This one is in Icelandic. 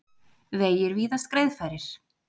Vegir víðast greiðfærir